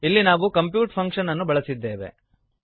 ಇಲ್ಲಿ ನಾವು compute function ಅನ್ನು ಬಳಸಿದ್ದೇವೆ